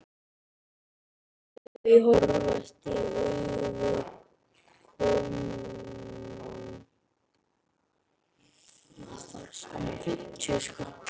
Þau horfast í augu við komumann.